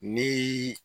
Ni